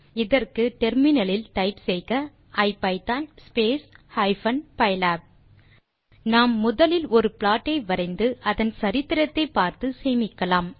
இதற்கு முனையத்தில் typeசெய்க ஐபிதான் ஹைபன் பைலாப் நாம் முதலில் ஒரு ப்ளாட் ஐ வரைந்து அதன் சரித்திரத்தை பார்த்து சேமிக்கலாம்